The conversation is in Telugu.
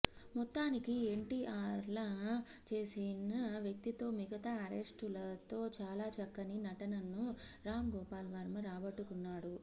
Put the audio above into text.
మొత్తానికి ఎన్టీఆర్లా చేసిన వ్యక్తితో మిగతా ఆర్టిస్టులతో చాల చక్కని నటనను రామ్ గోపాల్ వర్మ రాబట్టుకున్నాడు